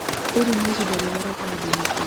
Rĩrĩ nĩ ihinda riega rĩa kũhanda mĩtĩ